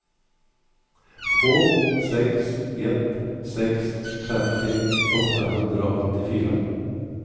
två sex ett sex femtio åttahundraåttiofyra